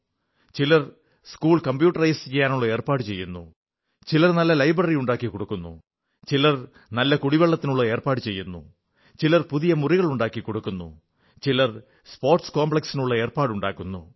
ചിലർ school computerise ചെയ്യാനുള്ള ഏർപ്പാടു ചെയ്യുന്നു ചിലർ നല്ല ലൈബ്രറി ഉണ്ടാക്കി കൊടുക്കുന്നു ചിലർ നല്ല വെള്ളത്തിനുള്ള ഏർപ്പാടു ചെയ്യുന്നു ചിലർ പുതിയ മുറികളുണ്ടാക്കിക്കുന്നു ചിലർ സ്പോർട്സ് കോംപ്ലക്സിനുള്ള ഏർപ്പാടുണ്ടാക്കുന്നു